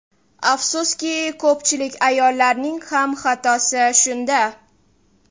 Afsuski, ko‘pchilik ayollarning ham xatosi shunda.